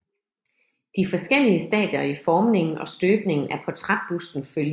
De forskellige stadier i formningen og støbningen af portrætbusten følges